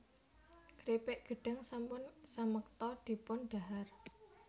Kripik gedhang sampun samekta dipun dhahar